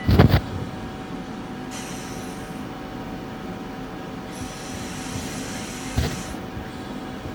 kaiko peebaki emoyian oloirobi lo sesen